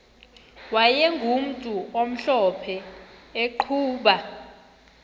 wayegumntu omhlophe eqhuba